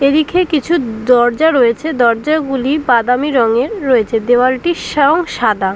এদিকে কিছু দরজা রয়েছে। দরজাগুলি বাদামি রঙের রয়েছে। দেওয়ালটির সং সাদা।